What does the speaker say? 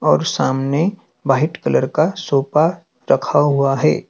और सामने white colour का सोफा रखा हुआ है।